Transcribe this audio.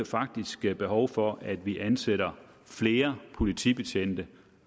faktisk bliver behov for at vi ansætter flere politibetjente